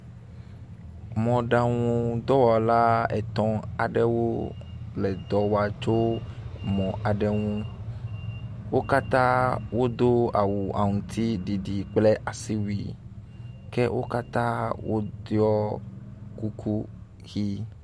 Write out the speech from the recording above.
Mɔɖaŋudɔwɔla etɔ̃ aɖewo le dɔ wɔa tso mɔ aɖe ŋu. wo katã wodo awu aŋtsiɖiɖi kple asiwui ke wo katã woɖɔ kuku ʋi.